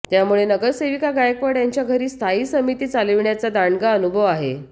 त्यामुळे नगरसेविका गायकवाड यांच्या घरी स्थायी समिती चालविण्याचा दांडगा अनुभव आहे